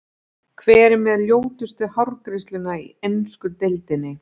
Hver er með ljótustu hárgreiðsluna í ensku deildinni?